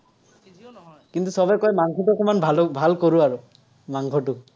কিন্তু, চবেই কয়, মাংসটো অকণমান ভাল ভালো কৰো আৰু। মাংসটো।